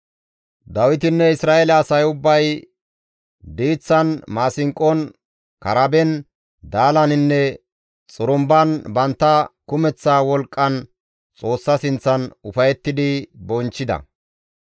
Dawitinne Isra7eele asay ubbay diiththan maasinqon, karaben, daalaninne xurumban bantta kumeththa wolqqan Xoossa sinththan ufayettidi bonchchida.